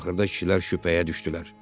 Axırda kişilər şübhəyə düşdülər.